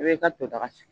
I b'i ka to daga sigi